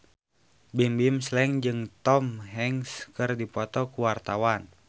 Bimbim Slank jeung Tom Hanks keur dipoto ku wartawan